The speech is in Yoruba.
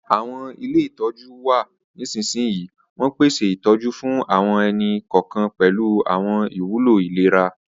Àwọn ilé ìtọ́jú n wa nisinsinyi, won pese ìtójú fún àwọn ẹni-kọọkan pẹ̀lu àwọn ìwúló ìlera.